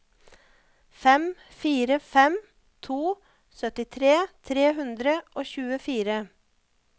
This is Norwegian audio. fem fire fem to syttitre tre hundre og tjuefire